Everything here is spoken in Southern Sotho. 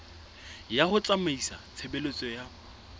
ya ho tsamaisa tshebeletso ya